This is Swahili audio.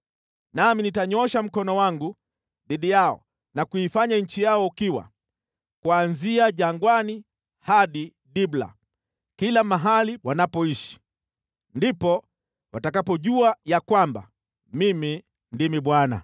Nami nitanyoosha mkono wangu dhidi yao na kuifanya nchi yao ukiwa, kuanzia jangwani hadi Dibla, kila mahali wanapoishi. Ndipo watakapojua ya kwamba Mimi ndimi Bwana .’”